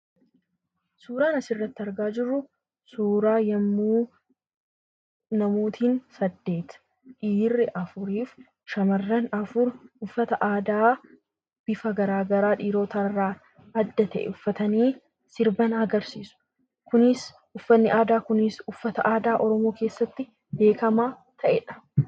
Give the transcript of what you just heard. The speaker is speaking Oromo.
Suuraan asirratti argaa jirru, suuraa yemmuu namootiin saddeet dhiirri afurii fi shamarran afur uffata aadaa bifa garaagaraa dhiirota irraa adda ta'e uffatanii sirba sirban agarsiisu. kunis uffanni aadaa kunis uffata aadaa Oromoo keessatti beekamaa ta'edha.